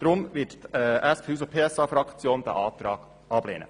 Deshalb wird die SP-JUSO-PSA-Fraktion diesen Antrag ablehnen.